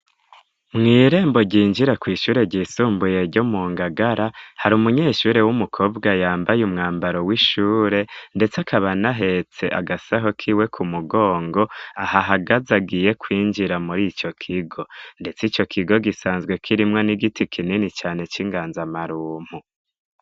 Mw' irembo ryinjira kw' ishure ry'isumbuye ryo mu Ngagara, hari umunyeshure w'umukobwa yambaye umwambaro w'ishure ndetse akaba anahetse agasaho kiwe ku mugongo ahahagaze agiye kwinjira muri ico kigo; Ndetse ico kigo gisanzwe kirimwo n'igiti kinini cane c'inganzamarumpu.